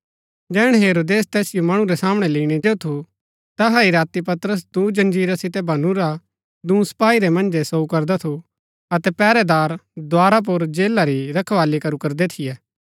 जैहणै हेरोदेस तैसिओ मणु रै सामणै लैईणै जो थु तैहा ही राती पतरस दूँ जंजीरा सितै बनुरा दूँ सपाई रै मन्जै सोऊ करदा थु अतै पैहरैदार द्धारा पुर जेला री रखवाली करू करदै थियै